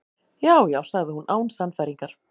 Já, já- sagði hún án sannfæringar.